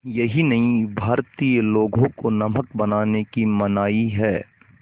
यही नहीं भारतीय लोगों को नमक बनाने की मनाही है